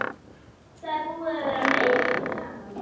Það er búið að vera meiriháttar gaman!